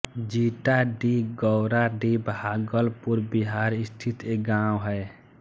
जीटाडीह गौराडीह भागलपुर बिहार स्थित एक गाँव है